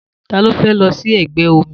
Ta ló fẹ́ lọ sí ẹgbẹ́ omi?